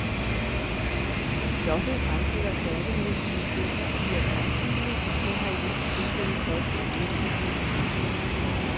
Stoffet fremkalder stærke hallucinationer og virker opkvikkende, men har i visse tilfælde kostet unge mennesker livet.